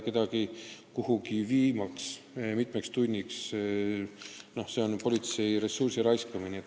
Kedagi kuhugi viia mitmeks tunniks – no see on politsei ressursi raiskamine.